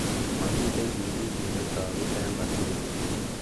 Momiten chigilisiet netogu en kotugul.